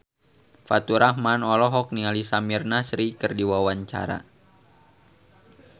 Faturrahman olohok ningali Samir Nasri keur diwawancara